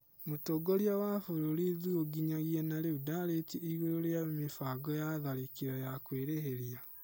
Mũtongoria wa bũrũri Thuo nginyagia na rĩu ndarĩtie igũrũ rĩa mibango ya tharĩkĩro ya kwĩrĩhĩria